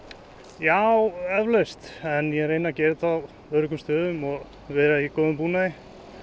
já eflaust en ég reyni að gera þetta á öruggum stöðum og vera í góðum búnaði